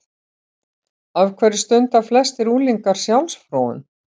Af hverju stunda flestir unglingar sjálfsfróun?